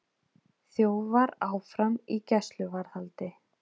Þjófar áfram í gæsluvarðhaldi